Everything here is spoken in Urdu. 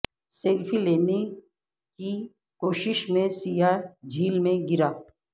سیلفی لینے کی کوشش میں سیاح جھیل میں گرا